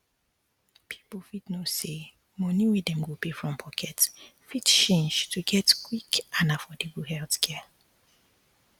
people fit know say money wey dem go pay from pocket fit change to get quick and affordable healthcare